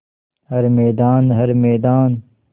हर मैदान हर मैदान